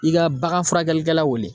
I ka bagan furakɛlikɛla wele.